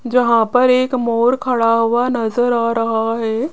यहां पर एक मोर खड़ा हुआ नजर आ रहा है।